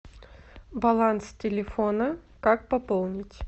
баланс телефона как пополнить